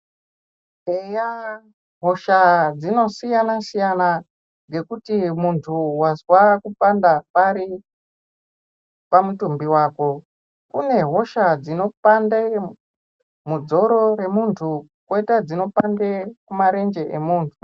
Eya hosha dzinosiyana-siyana ,ngekuti muntu wazwa kupanda pari, pamutumbi wako. Kune hosha dzinopande mudzoro remuntu, kwoita dzinopande kumarenje emunhu.